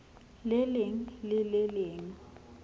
le leng le le leng